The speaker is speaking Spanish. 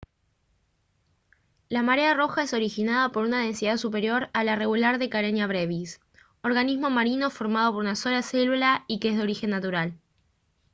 la marea roja es originada por una densidad superior a la regular de karenia brevis organismo marino formado por una sola célula y que es de origen natural